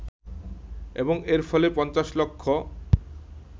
এবং এর ফলে পঞ্চাশ লক্ষ